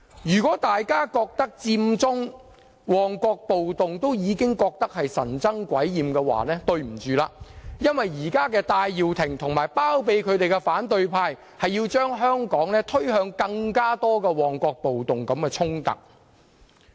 如果大家認為佔中、旺角暴動已令人神憎鬼厭，對不起，因為現在戴耀廷和包庇他的反對派要將香港推向更多如旺角暴動般的衝突。